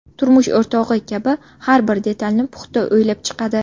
Turmush o‘rtog‘i kabi har bir detalni puxta o‘ylab chiqadi.